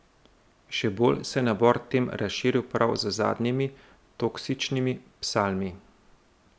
Še bolj se je nabor tem razširil prav z zadnjimi Toksičnimi psalmi.